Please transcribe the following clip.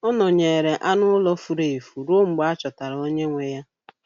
Ọ nọnyeere anụ ụlọ furu efu ruo mgbe a chọtara onye nwe ya.